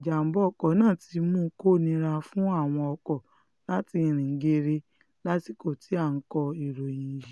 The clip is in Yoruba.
ìjàḿbà ọkọ̀ náà ti mú kó nira fún àwọn ọkọ̀ láti rìn geere lásìkò tí à ń kọ ìròyìn yìí